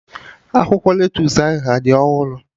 Akwụkwọ lettusu ahụ adị ọhụrụ?